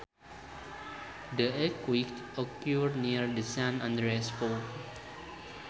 The earthquake occurred near the San Andreas fault